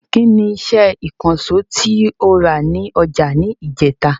Ki ni iṣẹ́ ìkànsó tí o rà ní ọjà ni ijeta?